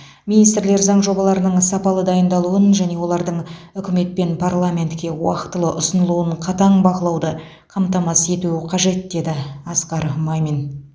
министрлер заң жобаларының сапалы дайындалуын және олардың үкімет пен парламентке уақытылы ұсынылуын қатаң бақылауды қамтамасыз етуі қажет деді асқар мамин